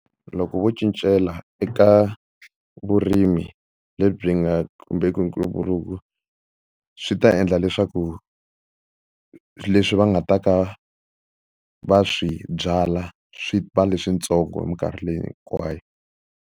Loko vo cincela eka vurimi lebyi nga khumbeki ntumbuluko swi ta endla leswaku leswi va nga ta ka va swi byala swi va leswintsongo hi minkarhi leyi hinkwayo.